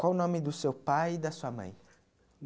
Qual o nome do seu pai e da sua mãe?